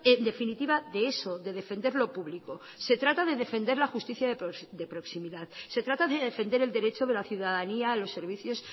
en definitiva de eso de defender lo público se trata de defender la justicia de proximidad se trata de defender el derecho de la ciudadanía a los servicios